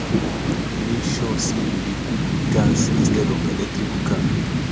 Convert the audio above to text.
mek sure say yu dey cook wit gas instead of electric cooker